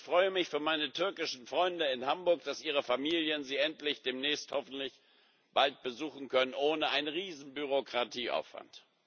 Ich freue mich für meine türkischen Freunde in Hamburg, dass ihre Familien sie endlich demnächst hoffentlich bald besuchen können, ohne einen riesigen Bürokratieaufwand.